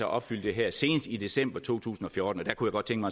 opfylde det her senest i december to tusind og fjorten jeg kunne godt tænke